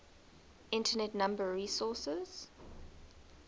internet number resources